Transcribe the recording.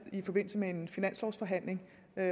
i forbindelse med en finanslovsforhandling og